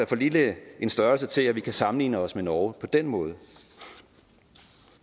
for lille en størrelse til at vi kan sammenligne os med norge på den måde